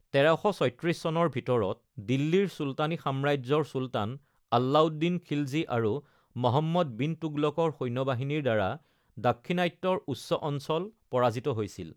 ১৩৩৬ চনৰ ভিতৰত দিল্লীৰ চুলতানী সাম্ৰাজ্যৰ চুলতান আলাউদ্দিন খিলজী আৰু মহম্মদ বিন তুগলকৰ সৈন্যবাহিনীৰ দ্বাৰা দাক্ষিণাত্যৰ উচ্চ অঞ্চল পৰাজিত হৈছিল।